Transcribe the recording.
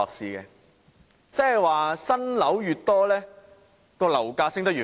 換言之，新樓越多，樓價升得越快。